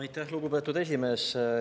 Aitäh, lugupeetud esimees!